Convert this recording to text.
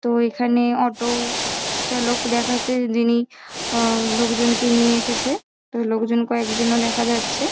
তো এখানে অটো চালক দেখাচ্ছে যে যিনি আহ লোকজনকে নিয়ে এসেছে । তো লোকজন কয়েকজনও দেখা যাচ্ছে।